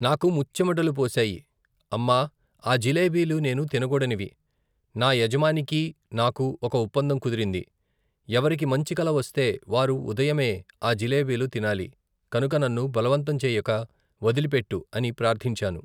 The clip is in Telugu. నాకు ముచ్చెమటలు పోశాయి, అమ్మా, ఆ జిలేబీలు నేను తినగూడనివి, నా యజమానికీ, నాకూ, ఒక ఒప్పందం కుదిరింది, ఎవరికి మంచి కల వస్తే, వారు ఉదయమే, ఆ జిలేబీలు తినాలి, కనుక, నన్ను బలవంతం చేయక, వదిలిపెట్టు అని ప్రార్థించాను.